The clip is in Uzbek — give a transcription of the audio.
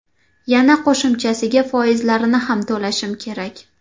Yana qo‘shimchasiga foizlarini ham to‘lashim kerak.